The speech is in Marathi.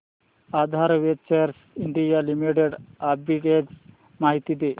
आधार वेंचर्स इंडिया लिमिटेड आर्बिट्रेज माहिती दे